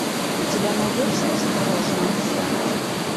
у тебя найдется осторожно обезьянки